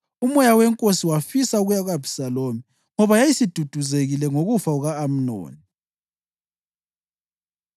Umoya wenkosi wafisa ukuya ku-Abhisalomu, ngoba yayisiduduzekile ngokufa kuka-Amnoni.